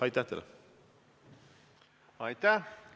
Aitäh!